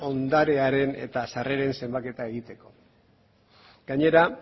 ondarearen eta sarreren zenbaketa egiteko gainera